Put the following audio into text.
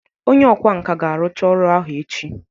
Onye ọkwá nkà ga-arụcha ọrụ ahụ echi